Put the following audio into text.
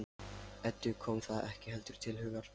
Eddu kom það ekki heldur til hugar.